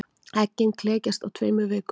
Eggin klekjast á tveimur vikum.